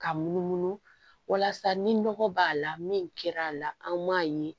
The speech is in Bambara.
K'a munumunu walasa ni nɔgɔ b'a la min kɛra a la an m'a ye